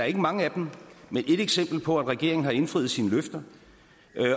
ikke mange af dem på at regeringen har indfriet sine løfter